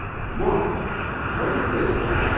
' Mom what is this?